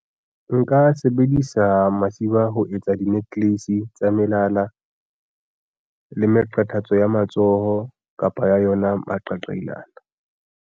Nka sebedisa masiba ho etsa di-necklace tsa melala le meqathatso ya matsoho kapa ya yona maqaqailana.